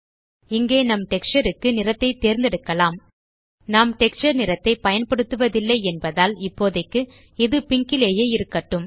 இங்கே நம் டெக்ஸ்சர் க்கு நிறத்தை தேர்ந்தெடுக்கலாம் நாம் டெக்ஸ்சர் நிறத்தை பயன்படுத்துவதில்லை என்பதால் இப்போதைக்கு இது பிங்க் லேயே இருக்கட்டும்